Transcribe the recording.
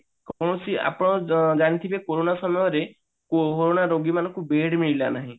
କୌଣସି ଆପଣ ଜାଣିଥିବେ କୋରୋନା ସମୟରେ କୋରୋନା ରୋଗୀ ମାନଙ୍କୁ bed ମିଳିଲା ନାହିଁ